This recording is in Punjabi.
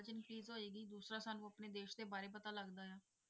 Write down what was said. ਹੋਏਗੀ, ਦੂਸਰਾ ਸਾਨੂੰ ਆਪਣੇ ਦੇਸ ਦੇ ਬਾਰੇ ਪਤਾ ਲੱਗਦਾ ਹੈ,